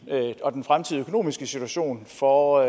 og den fremtidige økonomiske situation for